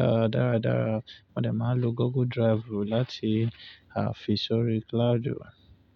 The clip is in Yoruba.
à dáradára wọ́n dè máa lo Google Drive láti fi sórí cloud.